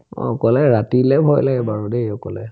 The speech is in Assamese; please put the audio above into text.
অ, অকলে ৰাতিলে ভয় লাগে দেই বাৰু অকলে